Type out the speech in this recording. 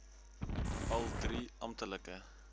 al drie amptelike